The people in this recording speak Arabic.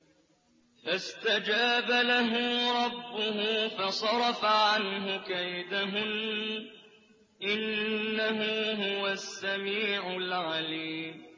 فَاسْتَجَابَ لَهُ رَبُّهُ فَصَرَفَ عَنْهُ كَيْدَهُنَّ ۚ إِنَّهُ هُوَ السَّمِيعُ الْعَلِيمُ